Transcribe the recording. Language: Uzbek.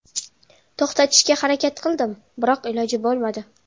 To‘xtatishga harakat qildim, biroq iloji bo‘lmadi.